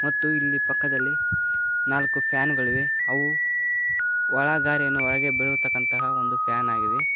ಮತ್ತು ಇಲ್ಲಿ ಪಕ್ಕದಲ್ಲಿ ನಾಲ್ಕು ಫ್ಯಾನ ಗಳಿವೆ ಅವು ಒಳಗಾರಿಯನ್ನು ಒಳಗೆ ಬಿಳುತಕ್ಕಂತ ಒಂದು ಫ್ಯಾನ್ ಆಗಿವೆ.